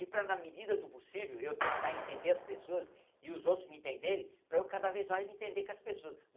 E para, na medida do possível, eu tentar entender as pessoas e os outros me entenderem, para eu cada vez mais me entender com as pessoas.